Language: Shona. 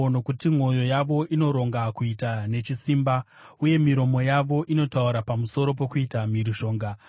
nokuti mwoyo yavo inoronga kuita nechisimba, uye miromo yavo inotaura pamusoro pokuita mhirizhonga.